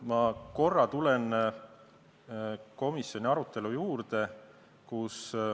Ma korra tulen komisjoni arutelu juurde.